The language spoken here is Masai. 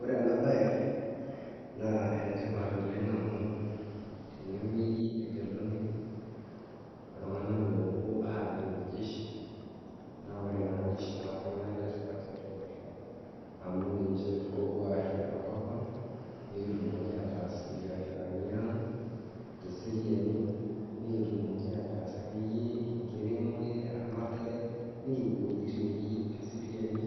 Ore enabaye naa enetipat oleng' amu tenewueji egeluni iltung'ana loopuo ajing' jeshi. Naa ore naa  jeshi naa iltung'anak letipat tiatua olosho amu ninche oopuo arrip enkopang' nikitumoki ataas imbiasharaniang' teseriani, nikitumoki ataas akeyie enkiremore, eramatare nikipuo wuejitin nikiyou teseriani,